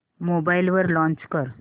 mobile वर launch कर